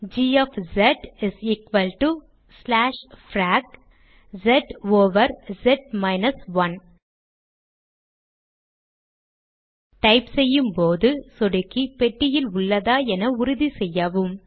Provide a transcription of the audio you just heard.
G frac s over s 1 type செய்யும் போது சொடுக்கி பெட்டியில் உள்ளதா என உறுதி செய்யவும்